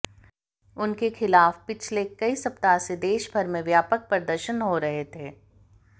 उनके खिलाफ पीछले कई सप्ताह से देश भर में व्यापक प्रदर्शन हो रहे थे